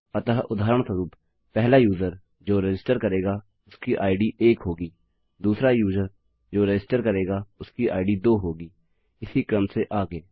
अतः उदाहरणस्वरूप पहला यूजर जो रजिस्टर करेगा उसकी इद एक होगी दूसरा यूजर जो रजिस्टर करेगा उसकी इद दो होगी इसी क्रम से आगे